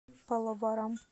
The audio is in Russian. паллаварам